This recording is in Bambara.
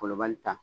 Wolobali ta